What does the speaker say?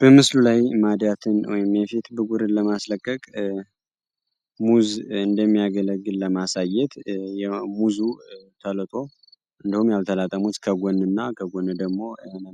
በምስሉ ላይ ማዲያትን ወይም የፊት ብጉርን ለማስለቀቅ ሙዝ እንደሚያገለግል ለማሳየት የሙዙ ተልጦ እንዲሁም ያልተላጠ ሙዝ ከጎን እና ከጎን ደሞ